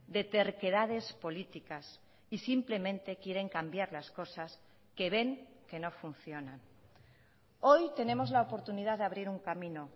de terquedades políticas y simplemente quieren cambiar las cosas que ven que no funcionan hoy tenemos la oportunidad de abrir un camino